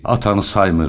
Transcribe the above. Atanı saymır.